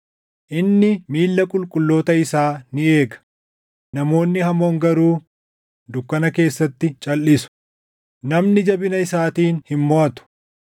Inni miilla qulqulloota isaa ni eega; namoonni hamoon garuu dukkana keessatti calʼisu. “Namni jabina isaatiin hin moʼatu;